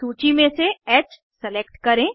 सूची में से ह सेलेक्ट करें